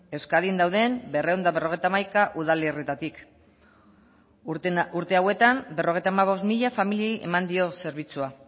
euskadin dauden berrehun eta berrogeita hamaika udalerritatik urte hauetan berrogeita hemezortzi mila familiei eman dio zerbitzua